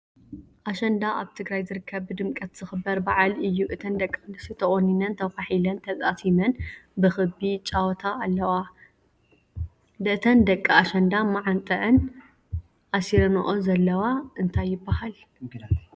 አሸንዳ ኣብ ትግራይ ዝርከብ ብድምቀት ዝክበር በዓል እዩ። እተን ደቂ አንስትዮ ተቆኒነን ፣ተኳሒለንን ተጣሲመን ብክቢ ይጫወታ አለዋ። እተን ደቂ ኣሸንዳ ኣብ መዓንጠኣን አሲረንኦ ዘለዋ እንታይ ይብሃል?